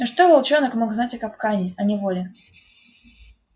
но что волчонок мог знать о капкане о неволе